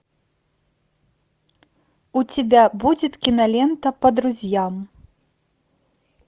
у тебя будет кинолента по друзьям